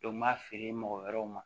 n m'a feere mɔgɔ wɛrɛw ma